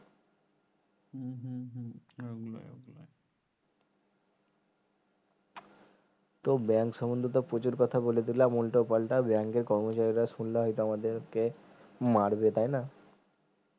তো bank সমন্ধে তো প্রচুর কথা বলে দিলাম উল্টোপাল্টা bank এর কর্মচারীরা শুনলে হয়তো আমাদেরকে মারবে তাই না